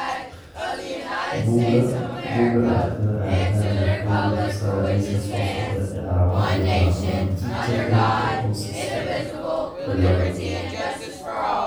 Bugga Aragtiyaha Aanadanaha waxay bixisaa liiska soo socda ee calaamadaha iyo calaamadaha Tricho dento ossiska cilada.